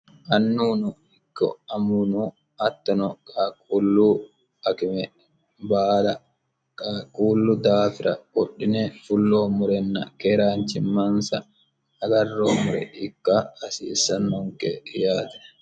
annuuno ikko amuwuno hattono qaquullu akime baala qaquullu daafira qodhine fulloommorenna keeraanchimansa agarreemmore ikka hasiissannonke yaate